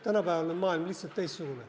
Tänapäeval on maailm lihtsalt teistsugune.